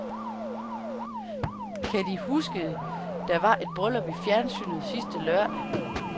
Kan de huske der var et bryllup i fjernsynet sidste lørdag?